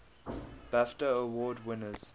bafta award winners